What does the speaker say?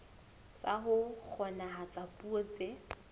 tsa ho kgonahatsa puo tse